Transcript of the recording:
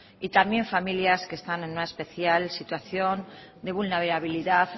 y también familias que están en una especial situación de vulnerabilidad